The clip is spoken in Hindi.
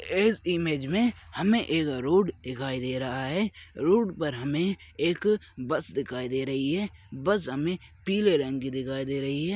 इस इमेज मे हमे एक रोड दिखाई दे रहा है रोड पर हमे एक बस दिखाई दे रही है बस हमे पीले रंग की दिखाई दे रही है।